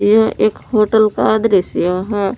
यह एक होटल का दृश्य है।